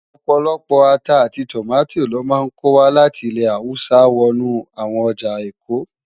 Opólópó átá áti tómátó lò má nkó wá láti ilè háwùsá wònú áwòn òjá ékó.